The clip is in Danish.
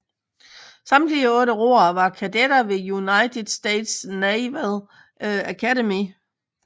Samtlige otte roere var kadetter ved United States Naval Academy